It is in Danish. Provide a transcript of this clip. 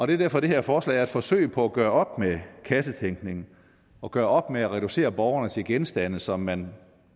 det er derfor det her forslag er et forsøg på at gøre op med kassetænkning og gøre op med at reducere borgerne til genstande som man